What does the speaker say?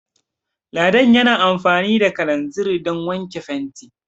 Ladan yana amfani da kalanzir Dan wake fenti